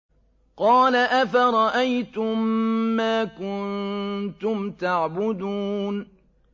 قَالَ أَفَرَأَيْتُم مَّا كُنتُمْ تَعْبُدُونَ